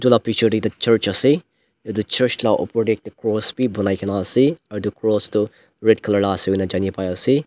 etu la picture dae ekta church ase etu church la opor dae ek cross bhi banaikena ase aro etu cross tuh red colour la ase kona janey pai ase.